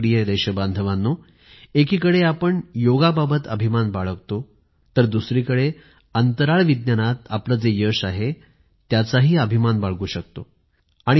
माझ्या प्रिय देशबांधवांनो एकीकडे आपण योगाबाबत अभिमान बाळगतो तर दुसरीकडे अंतराळ विज्ञानात आपले जे यश आहे त्याचाही अभिमान बाळगू शकतो